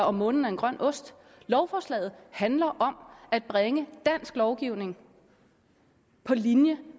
om månen er en grøn ost lovforslaget handler om at bringe dansk lovgivning på linje